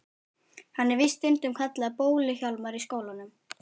Hann er víst stundum kallaður Bólu-Hjálmar í skólanum.